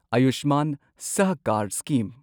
ꯑꯌꯨꯁꯃꯥꯟ ꯁꯍꯀꯥꯔ ꯁ꯭ꯀꯤꯝ